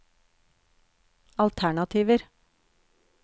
alternativer